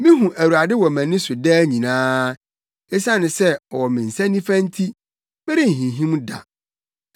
Mihu Awurade wɔ mʼani so daa nyinaa. Esiane sɛ ɔwɔ me nsa nifa nti, merenhinhim da.